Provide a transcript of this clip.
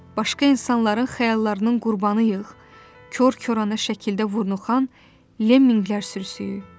Başqa insanların xəyallarının qurbanıyıq, kor-korana şəkildə vurnuxan lemminklər sürüsüyü?